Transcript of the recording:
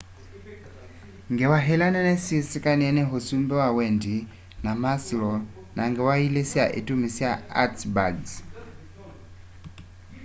ngewa ĩla nene syĩ sĩkanĩe nĩ ũsũmbĩ wa wendĩ wa maslow na ngewa ĩlĩ sya ĩtũmĩ sya hertzberg's